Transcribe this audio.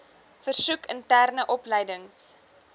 versoek interne opleidings